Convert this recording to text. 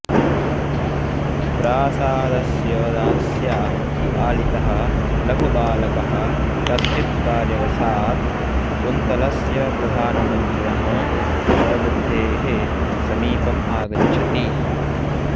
प्रासादस्य दास्या पालितः लघुबालकः कश्चित् कार्यवशात् कुन्तलस्य प्रधानमन्त्रिणः दुष्टबुद्धेः समीपम् आगच्छति